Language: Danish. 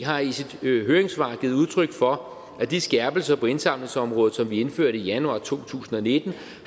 har i sit høringssvar givet udtryk for at de skærpelser på indsamlingsområdet som vi indførte i januar to tusind og nitten